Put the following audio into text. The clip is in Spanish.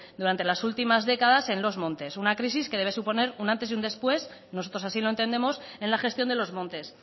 durante las últimas décadas en los montes una crisis que debe suponer un antes y un después nosotros así lo entendemos en la gestión de los montes